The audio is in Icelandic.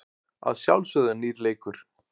Að sjálfsögðu er nýr leikur.